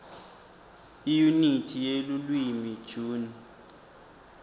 iyunithi yelulwimi june